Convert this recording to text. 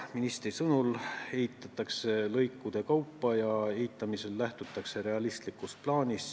Ministri sõnul ehitatakse seda lõikude kaupa ja ehitamisel lähtutakse realistlikust plaanist.